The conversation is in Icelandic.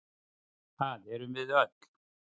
Það erum við öll.